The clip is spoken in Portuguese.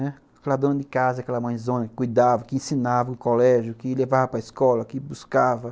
Aquela dona de casa, aquela mãezona que cuidava, que ensinava o colégio, que levava para escola, que buscava.